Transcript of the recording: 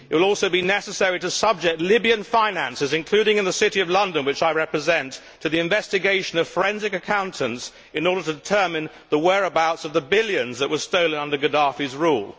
It will also be necessary to subject Libyan finances, including in the City of London which I represent, to the investigation of forensic accountants in order to determine the whereabouts of the billions that were stolen under Gaddafi's rule.